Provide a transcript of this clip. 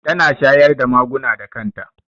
Tana shayar da maguna da kan ta